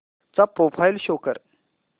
चा profile show कर